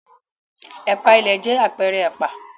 Ẹ̀pà ìlẹ̀ jẹ́ àpẹẹrẹ ẹ̀pà.